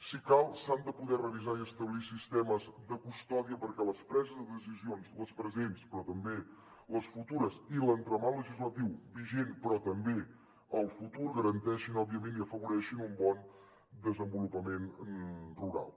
si cal s’han de poder revisar i establir sistemes de custòdia perquè les preses de decisions les presents però també les futures i l’entramat legislatiu vigent però també el futur garanteixin òbviament i afavoreixin un bon desenvolupament rural